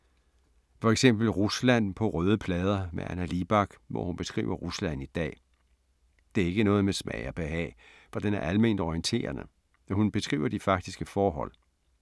For eksempel Rusland på røde plader af Anna Libak, hvor hun beskriver Rusland i dag. Det er ikke noget med smag og behag for den er alment orienterende. Hun beskriver de faktiske forhold.